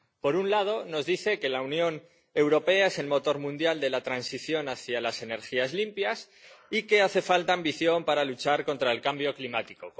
Por un lado nos dice que la Unión Europea es el motor mundial de la transición hacia las energías limpias y que hace falta ambición para luchar contra el cambio climático.